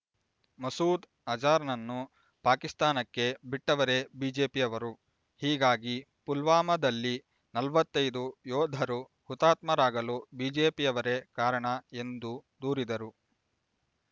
ಮಸೂದ್ ಅಜಾರ್ ನನ್ನು ಪಾಕಿಸ್ತಾನಕ್ಕೆ ಬಿಟ್ಟವರೇ ಬಿಜೆಪಿಯವರು ಹೀಗಾಗಿ ಪುಲ್ವಾಮದಲ್ಲಿ ನಲವತೈದು ಯೋಧರು ಹುತಾತ್ಮ ರಾಗಲು ಬಿಜೆಪಿಯವರೇ ಕಾರಣ ಎಂದು ದೂರಿದರು